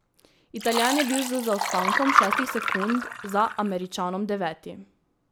Italijan je bil z zaostankom šestih sekund za Američanom deveti.